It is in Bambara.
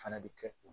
Fana bɛ kɛ o